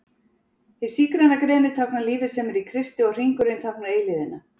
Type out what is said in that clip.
Hið sígræna greni táknar lífið sem er í Kristi og hringurinn táknar eilífðina.